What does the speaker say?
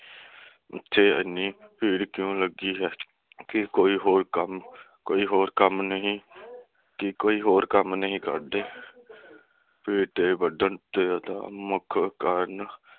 ਇਥੇ ਇੰਨੀ ਭੀੜ ਕਿਉਂ ਲੱਗੀ ਹੈ ਕੇ ਕੋਈ ਹੋਰ ਕੰਮ ਕੇ ਕੋਈ ਹੋਰ ਕੰਮ ਨਹੀਂ ਕੇ ਕੋਈ ਹੋਰ ਕੰਮ ਨਹੀਂ ਕਰਦੇ ਭੀੜ ਦੇ ਵੱਧਣ ਮੁੱਖ ਕਾਰਨ